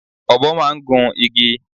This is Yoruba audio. Ọ̀bọ máa ń gun igi.